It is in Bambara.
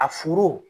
A furu